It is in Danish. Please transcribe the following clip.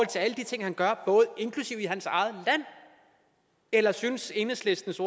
til alle de ting han gør inklusive i hans eget land eller synes enhedslistens